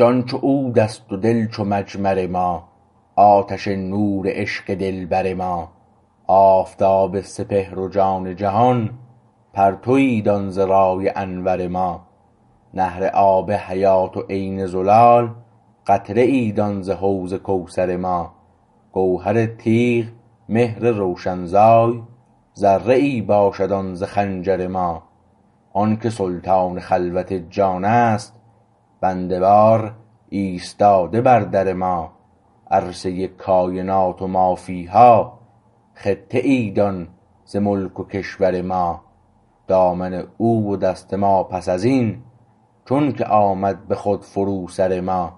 جان چو عودست و دل چو مجمر ما آتش نور عشق دلبر ما آفتاب سپهر و جان جهان پرتوی دان ز رای انور ما نهر آب حیات و عین زلال قطره ای دان ز حوض کوثر ما گوهر تیغ مهر روشنزای ذره ای باشد آن ز خنجر ما آنکه سلطان خلوت جانست بنده وار ایستاده بر در ما عرصه کاینات و ما فیها خطه ای دان ز ملک و کشور ما دامن او و دست ما پس از این چون که آمد به خود فرو سر ما